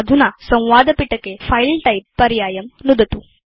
अधुना संवादपिटके फिले टाइप पर्यायं नुदतु